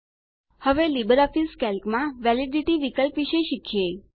હવે લીબરઓફીસ કેલ્કમાં વેલિડિટી વિકલ્પ વિશે શીખીએ